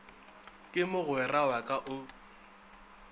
ke mogwera wa ka o